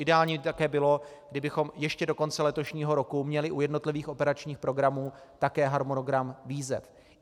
Ideální by také bylo, kdybychom ještě do konce letošního roku měli u jednotlivých operačních programů také harmonogram výzev.